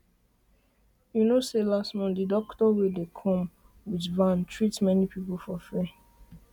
you know say last month the doctor wey dey come come with van treat many people for free